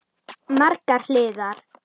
Margar hliðar.